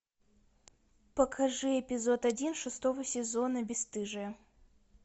покажи эпизод один шестого сезона бесстыжие